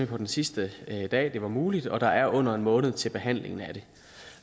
på den sidste dag det var muligt og der er under en måned til behandlingen af det